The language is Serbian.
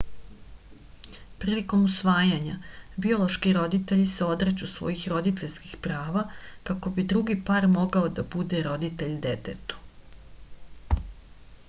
prilikom usvajanja biološki roditelji se odriču svojih roditeljskih prava kako bi drugi par mogao da bude roditelj detetu